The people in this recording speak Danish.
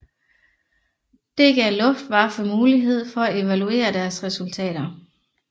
Det gav Luftwaffe mulighed for at evaluere deres resultater